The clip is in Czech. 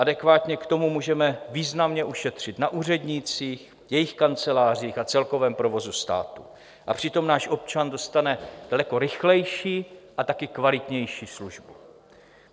Adekvátně k tomu můžeme významně ušetřit na úřednících, jejich kancelářích a celkovém provozu státu, a přitom náš občan dostane daleko rychlejší a taky kvalitnější služby.